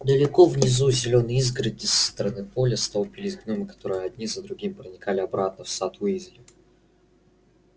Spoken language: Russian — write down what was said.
далеко внизу у зелёной изгороди со стороны поля столпились гномы которые один за другим проникали обратно в сад уизли